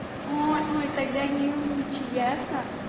ой ой тогда не умничай ясно